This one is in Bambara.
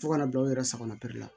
Fo ka na bila u yɛrɛ sagona pere la